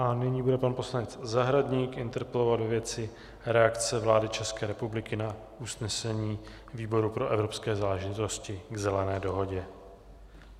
A nyní bude pan poslanec Zahradník interpelovat ve věci reakce vlády České republiky na usnesení výboru pro evropské záležitosti k Zelené dohodě.